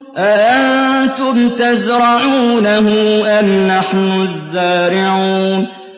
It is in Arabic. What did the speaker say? أَأَنتُمْ تَزْرَعُونَهُ أَمْ نَحْنُ الزَّارِعُونَ